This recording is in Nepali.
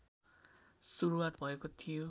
सुरुवात भएको थियो